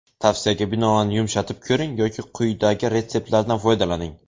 Tavsiyaga binoan yumshatib ko‘ring yoki quyidagi retseptlardan foydalaning.